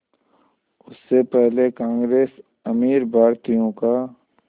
उससे पहले कांग्रेस अमीर भारतीयों का